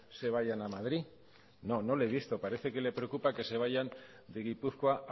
se vayan a madrid no no le he visto parece que le preocupa que se vayan de gipuzkoa